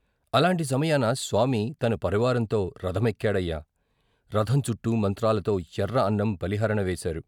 అలాంటి సమయాన స్వామి తన పరివారంతో రథమెక్కాడయ్యా రథం చుట్టూ మంత్రాలతో ఎర్ర అన్నం బలిహరణ వేశారు.